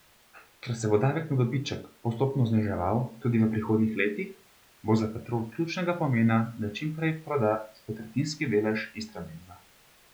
Ker se bo davek na dobiček postopno zniževal tudi v prihodnjih letih, bo za Petrol ključnega pomena, da čim prej proda svoj tretjinski delež Istrabenza.